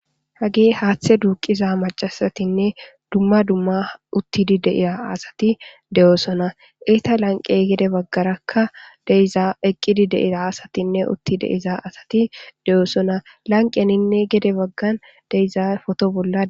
hagee haaththe duuqiza macasatinne dumma dumma uttidi deiya asati de7oosona iita lanqe gede baggarakka deiza eqqidi deia asatinne utti deiza asati de7oosona lanqeninne gede baggan deiza foto bolla